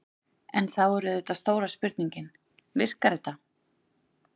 En þá er auðvitað stóra spurningin: Virkar þetta?